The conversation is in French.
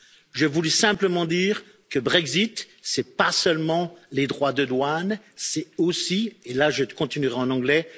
Je voulais simplement dire que le Brexit, ce n'est pas seulement les droits de douane, c'est aussi, et là je continuerai en anglais...